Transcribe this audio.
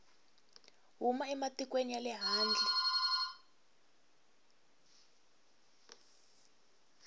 huma ematikweni ya le handle